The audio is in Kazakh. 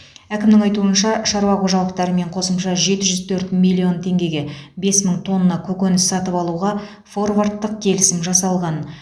әкімнің айтуынша шаруа қожалықтарымен қосымша жеті жүз төрт миллион теңгеге бес мың тонна көкөніс сатып алуға форвардтық келісім жасалған